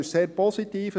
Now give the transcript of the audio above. Das ist sehr positiv.